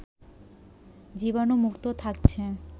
জীবাণুমুক্ত থাকছে